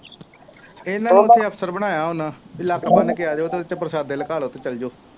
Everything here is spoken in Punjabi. ਇਹਨਾ ਨੇ ਹੀ ਅਵਸਰ ਬਣਾਇਆ ਹੋਣਾ, ਬਈ ਲੱਕ ਬੰਨ੍ਹ ਕੇ ਆ ਜਾਉ, ਉਹਦੇ ਚ ਪ੍ਰਸ਼ਾਦੇ ਲੁਕਾ ਲਉ ਅਤੇ ਚੱਲ ਜਾਉ।